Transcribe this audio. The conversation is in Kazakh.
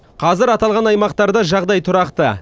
қазір аталған аймақтарда жағдай тұрақты